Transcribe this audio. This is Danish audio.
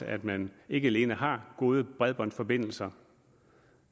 at man ikke alene har gode bredbåndsforbindelser